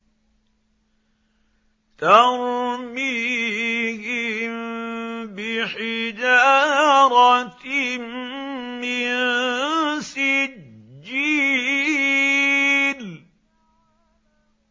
تَرْمِيهِم بِحِجَارَةٍ مِّن سِجِّيلٍ